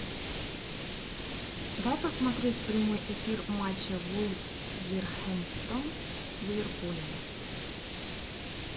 дай посмотреть прямой эфир матча вулверхэмптон с ливерпулем